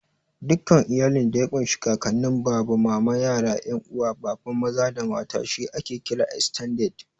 Dukkan iyalin da ya ƙun shi Kakanin, Baba, Mama, yara, 'yan uwa Baba maza da mata she ake kira "Estended".